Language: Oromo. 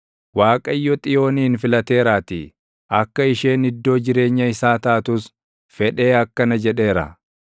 Waaqayyo Xiyoonin filateeraatii; akka isheen iddoo jireenya isaa taatus fedhee akkana jedheera: